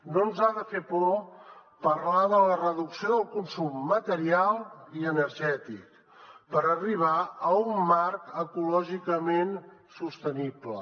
no ens ha de fer por parlar de la reducció del consum material i energètic per arribar a un marc ecològicament sostenible